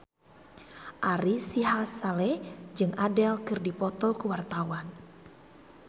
Ari Sihasale jeung Adele keur dipoto ku wartawan